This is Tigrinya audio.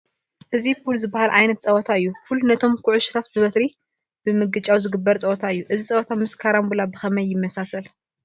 እዚ ፑል ዝበሃል ዓይነት ፀወታ እዩ፡፡ ፑል ነቶም ኩዕሾታት ብበትሪ ብምግጫው ዝግበር ፀወታ እዩ፡፡ እዚ ፀወታ ምስ ካራንቡላ ብኸመይ ይመሳሰል?